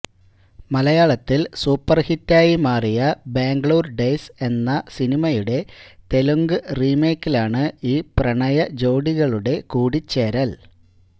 മലയാളത്തിൽ സൂപ്പർഹിറ്റായി മാറിയ ബാംഗ്ളൂർ ഡെയ്സ് എന്ന സിനിമയുടെ തെലുങ്ക് റീമേക്കിലാണ് ഈ പ്രണയ ജോഡികളുടെ കൂടിച്ചേരൽ